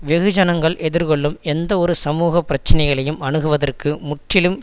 வெகுஜனங்கள் எதிர்கொள்ளும் எந்தவொரு சமூக பிரச்சினைகளையும் அணுகுவதற்கு முற்றிலும்